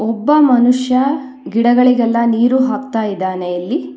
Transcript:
ಒಬ್ಬ ಮನುಷ್ಯ ಗಿಡಗಳಿಗೆಲ್ಲ ನೀರು ಹಾಕ್ತಾ ಇದ್ದಾನೆ ಇಲ್ಲಿ.